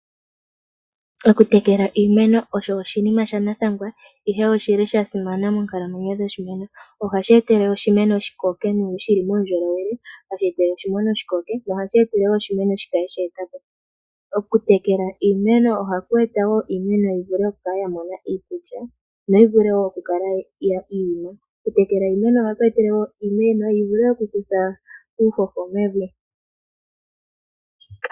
Oku tekela iimeno osho oshinima shanathangwa ihe oshili sha simana monkalamwenyo dhoshimeno. Oha shi etele oshimeno shi koke shili muundjolowele, hashi etele oshi meno shi koke, noha shi etele woo oshimeno shikale shoopala. Oku tekula iimeno oha ku etele woo iimeno yi vule oku kala ya mona iikulya noyi vule woo oku kala ya ima. Oku tekela iimeno oha ku etele woo iimeno yi vule okutha uuhoho mevi.